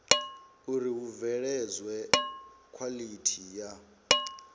uri hu bveledzwe khwalithi ya